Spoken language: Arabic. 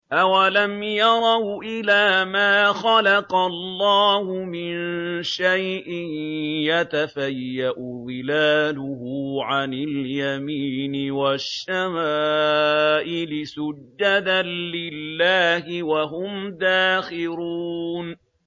أَوَلَمْ يَرَوْا إِلَىٰ مَا خَلَقَ اللَّهُ مِن شَيْءٍ يَتَفَيَّأُ ظِلَالُهُ عَنِ الْيَمِينِ وَالشَّمَائِلِ سُجَّدًا لِّلَّهِ وَهُمْ دَاخِرُونَ